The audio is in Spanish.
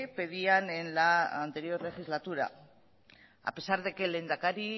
pedían en la anterior legislatura a pesar de que el lehendakari